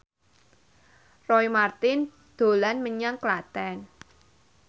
Roy Marten dolan menyang Klaten